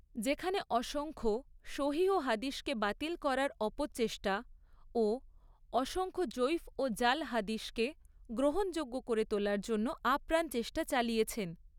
যেখানে অসংখ্য সহিহ হাদিসকে বাতিল করার অপচেষ্টা ও অসংখ্য যঈফ ও জাল হাদিসকে গ্রহণযোগ্য করে তোলার জন্য আপ্রাণ চেষ্টা চালিয়েছেন।